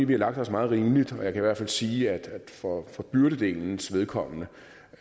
vi har lagt os meget rimeligt og jeg kan hvert fald sige at for for byrdedelens vedkommende